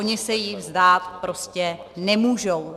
Oni se jich vzdát prostě nemůžou.